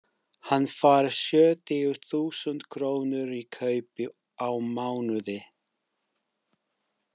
Hann fær sjötíu þúsund krónur í kaup á mánuði.